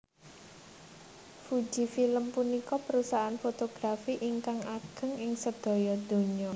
Fujifilm punika perusahaan fotografi ingkang ageng ing sedaya donya